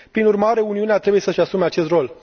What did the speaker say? Prin urmare, Uniunea trebuie să își asume acest rol.